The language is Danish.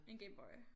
En Game Boy